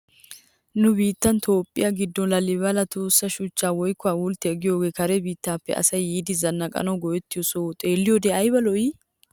Nu biittaa toophiyaa giddon laalibela tossa shuchchay woykko hawulttiya giyoogee kare biittaappe asay yiidi zannaqanawu go'ettiyo sohoy xeelliyoode ayiba lo'ii!